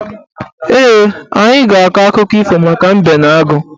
Ee, anyị ga-akọ akụkọ ifo maka mbe na agụ